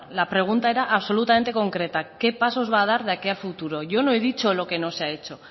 la pregunta era absolutamente concreta qué pasos va a dar de aquí a futuro yo no he dicho lo que no se ha hecho